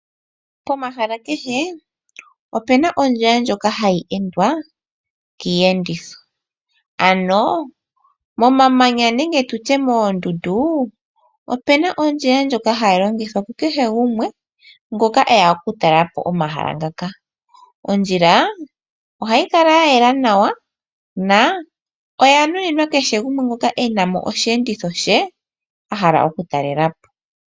Pomahala kehe opu na ondjila ndjoka hayi endwa kiiyenditho. Ano komamanya nenge koondundu, oku na ondjila ndjoka hayi longithwa ku kehe gumwe, ngoka eya okutalela po omahala ngoka. Ondjila ohayi kala ya yela nawa, na oya nuninwa kehe gumwe ngoka e na mo osheenditho she a hala okutalelapo.